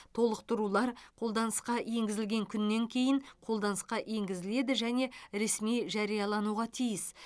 толықтырулар қолданысқа енгізілген күннен кейін қолданысқа енгізіледі және ресми жариялануға тиіс